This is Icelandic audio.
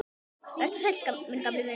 Vertu sæll, minn gamli vinur.